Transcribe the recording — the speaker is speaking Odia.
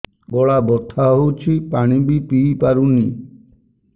ଗଳା ବଥା ହଉଚି ପାଣି ବି ପିଇ ପାରୁନି